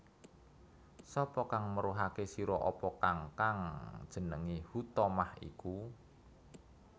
Sapa kang meruhake sira apa kang kang jenenge Huthomah iku